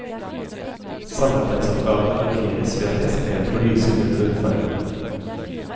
Samarbeidsoppgavene markeres ved at de er skrevet på lysegrønn bunnfarve.